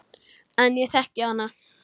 En ég þekki hana.